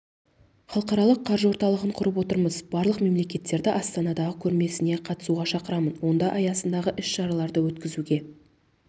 халықаралық қаржы орталығын құрып отырмыз барлық мемлекеттерді астанадағы көрмесіне қатысуға шақырамын онда аясындағы іс-шараларды өткізуге